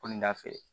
Ko nin da fɛ